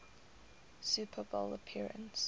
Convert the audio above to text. super bowl appearance